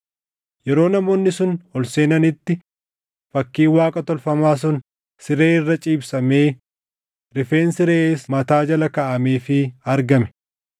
Yeroo namoonni sun ol seenanitti fakkiin Waaqa tolfamaa sun siree irra ciibsamee, rifeensi reʼees mataa jala kaaʼameefii argame.